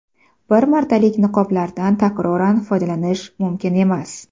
Bir martalik niqoblardan takroran foydalanish mumkin emas.